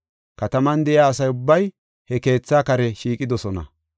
Kataman de7iya asa ubbay he keetha kare shiiqidosona.